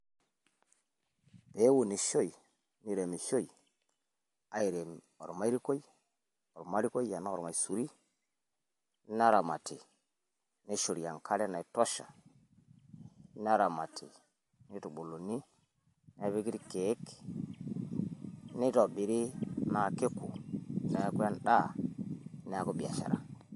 Peunishoi, neiremishoi airem ormairikuoi enaa ormaisuri neramati neishori enkare naitosha neramati neitubuluni irkiek nitobiri naa keku neeku endaa neeku biashara.